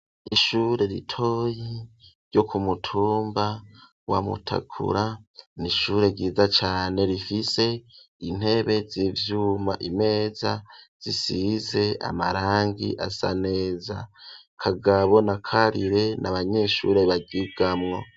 Ishure ritoyi ryo ku mutumba wa Mutakura n'ishure ryiza cane rifise intebe z'ivyuma imeza zisize amarangi asa neza Kagabo na Karire n'abanyeshuri baryigamwo.